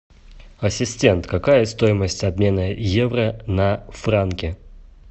ассистент какая стоимость обмена евро на франки